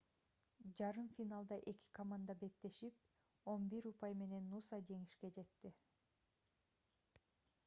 жарым финалда эки команда беттешип 11 упай менен нуса жеңишке жетти